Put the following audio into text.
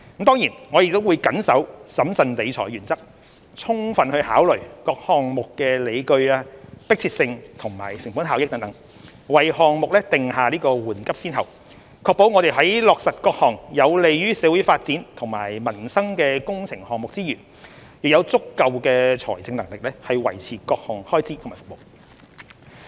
當然，我們亦會緊守審慎理財的原則，充分考慮各項目的理據、迫切性及成本效益等，為項目訂下緩急先後，確保我們在落實各項有利於社會發展和民生的工程項目之餘，亦有足夠財政能力維持各項開支和服務。